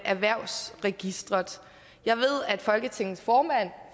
erhvervsregisteret jeg ved at folketingets formand